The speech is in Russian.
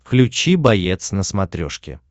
включи боец на смотрешке